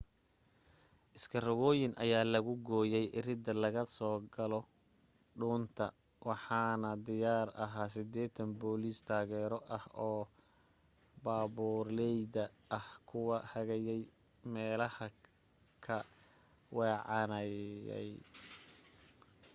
iskarogooyin ayaa lagu gooyay iridda laga galo dhuunta waxaana diyaar ahaa 80 booliis taageero ah oo baabuurleyda ah ku hagayay meelahay ka weecanayaan